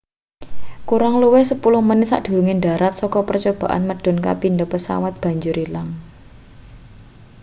kurang luwih sepuluh menit sadurunge ndharat saka percobaan medhun kapindo pesawate banjur ilang